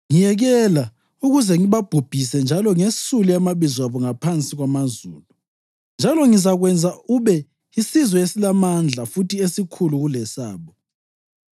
Ngiyekela ukuze ngibabhubhise njalo ngesule amabizo abo ngaphansi kwamazulu. Njalo ngizakwenza ube yisizwe esilamandla futhi esikhulu kulesabo.’